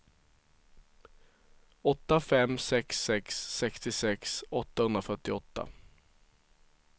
åtta fem sex sex sextiosex åttahundrafyrtioåtta